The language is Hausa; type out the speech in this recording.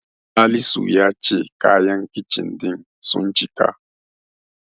Salisu ya ce kayan Kicin ɗin sun cika.